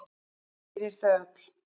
Fyrir þau öll!